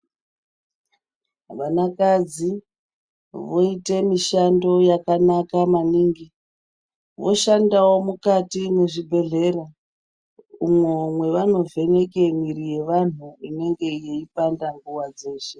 Vanakadzi voite mishando yakanaka maningi voshandawo mukati mezvibhedhlera umwo mwevanovheneke mwiri yevandu inenge yeipanda nguwa dzeshe.